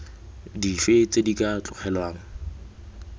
dife tse di ka tlogelwang